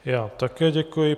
Já také děkuji.